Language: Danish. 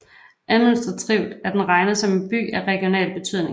Administrativt er den regnet som en by af regional betydning